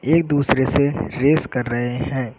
एक दूसरे से रेस कर रहे हैं।